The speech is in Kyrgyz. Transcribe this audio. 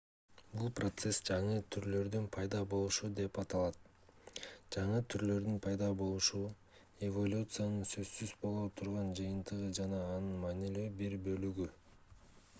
бул процесс жаңы түрлөрдүн пайда болушу деп аталат жаңы түрлөрдүн пайда болушу эволюциянын сөзсүз боло турган жыйынтыгы жана анын маанилүү бир бөлүгү